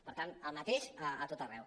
per tant el mateix a tot arreu